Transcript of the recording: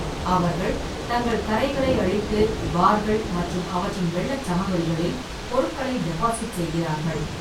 அவர்கள் தங்கள் கரைகளை அழித்து, பார்கள் மற்றும் அவற்றின் வெள்ளச் சமவெளிகளில் பொருட்களை டெபாசிட் செய்கிறார்கள்.